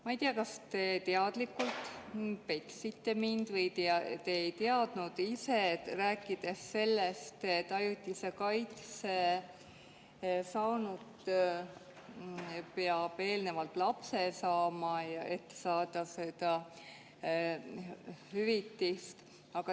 Ma ei tea, kas te teadlikult petsite mind või te ei teadnud ka ise, rääkides sellest, et ajutise kaitse saanu peab eelnevalt lapse saama, et saada seda hüvitist.